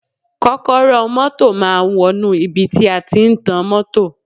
Kọ́kọ́rọ́ ọ mọ́tọ̀ máa wọnú ibi tí a tí ń tan mọ́tọ̀.